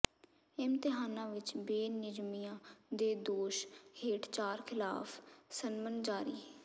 ਇਮਤਿਹਾਨਾਂ ਵਿਚ ਬੇਨਿਯਮੀਆਂ ਦੇ ਦੋਸ਼ ਹੇਠ ਚਾਰ ਖਿਲਾਫ਼ ਸੰਮਨ ਜਾਰੀ